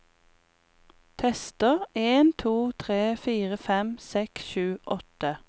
Tester en to tre fire fem seks sju åtte